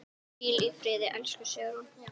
Hvíl í friði, elsku Sigrún.